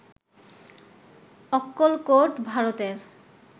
অক্কলকোট, ভারতের